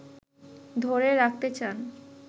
ধরে রাখতে চান।